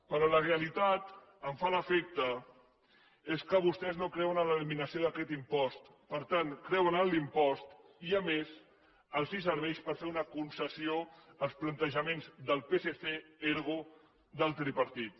però la realitat em fa l’efecte és que vostès no creuen en l’eliminació d’aquest impost per tant creuen en l’impost i a més els serveix per fer una concessió als plantejaments del psc ergo del tripartit